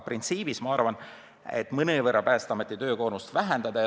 Printsiibis ma arvan, et mõnevõrra on tõesti võimalik Päästeameti töökoormust vähendada.